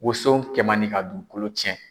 Woson kɛ man di ka dugukolo cɛn.